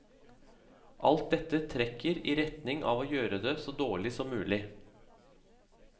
Alt dette trekker i retning av å gjøre det så dårlig som mulig.